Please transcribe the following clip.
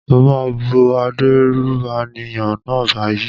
Mo máa bú adérùbànìyàn náà báyìí.